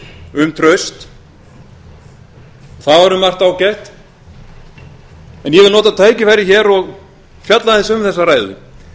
um traust það var um margt ágætt en ég vil nota tækifærið hér og fjalla aðeins um þessa ræðu